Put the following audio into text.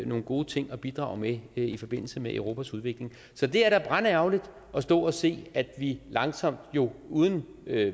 nogle gode ting at bidrage med i forbindelse med europas udvikling så det er da brandærgerligt at stå og se at vi langsomt og uden